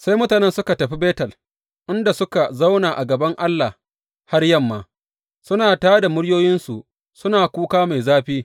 Sai mutanen suka tafi Betel, inda suka zauna a gaban Allah har yamma, suna tā da muryoyinsu suna kuka mai zafi.